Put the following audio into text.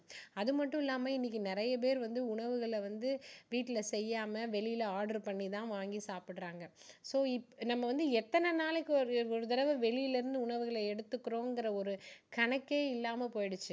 அது மட்டுமில்லாம இன்னைக்கு நிறைய பேரு வந்து உணவுகளை வந்து வீட்டுல செய்யாம வெளியில order பண்ணி தான் வாங்கி சாப்பிடுறாங்க so இ~நம்ம வந்து எத்தனை நாளைக்கு ஒரு ஒரு தடவை வெளியில இருந்து உணவுகளை எடுத்துக்கிறோங்கிற ஒரு கணக்கே இல்லாம போயிடுச்சு